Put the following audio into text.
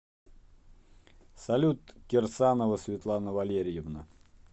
салют кирсанова светлана валерьевна